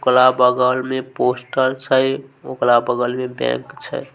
ओकरा बगल में पोस्टर छै ओकरा बगल में बैंक छै।